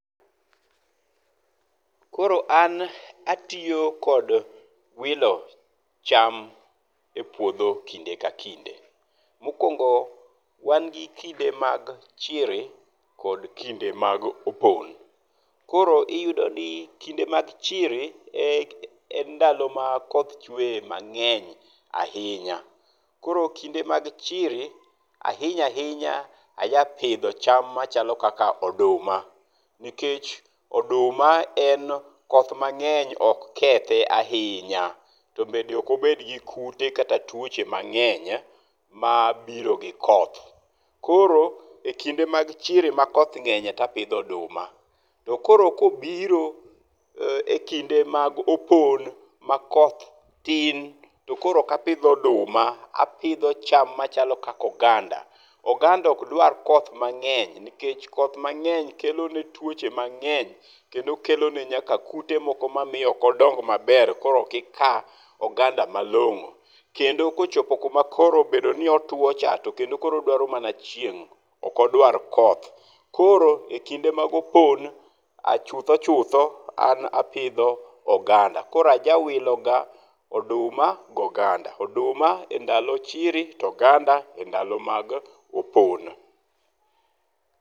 Koro an atiyo kod wilo cham e puodho kinde ka kinde. Mokuongo , wan gi kinde mag chiri kod kinde mag opon. Koro iyudo ni kinde mag chiri e, en ndalo ma koth chweye mang'eny ahinya .Koro kinde mag chiri ahinya ahinya aja pidho cham machalo kaka oduma, nikech oduma en koth mang'eny ok kethe ahinya to be ok obed gi kute kata tuoche mang'eny mabiro gi koth. Koro e kinde mag chiri ma koth ng'enye to apidho oduma to koro kobiro e kinde mag opon ma koth tin to koro ok apidh oduma, apidho cham machalo kaka oganda. Oganda ok dwar koth mang'eny nikech koth mang'eny kelo ne twoche mang'eny kendo kelo ne nyaka kute ma miyo ok odong maber koro ok ika oganda malong'o .Kendo ko ochopo kuma koro obedo ni otwo to kendo koro odwaro mana chieng' ok odwar koth. Koro e kinde mag opon chutho chutho an apidho ga oganda. Koro ajawilo ga oduma gi oganda, oduma e ndalo chiri ,oganda e ndalo mag opon.